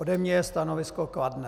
Ode mě je stanovisko kladné.